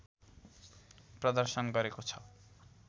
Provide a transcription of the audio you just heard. प्रदर्शन गरेको छ